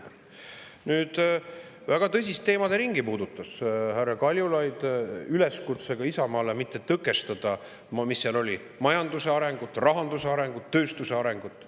Härra Kaljulaid puudutas väga tõsist teemaderingi üleskutsega Isamaale mitte tõkestada, mis seal oli, majanduse arengut, rahanduse arengut ja tööstuse arengut.